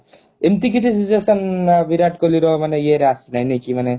ଏମିତି କିଛି situation ବିରାଟ କୋହଲିର ମାନେ ଇଏରେ ଆସିନି ନାଇ କି ମାନେ